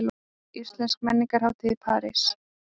Íslensk menningarhátíð í París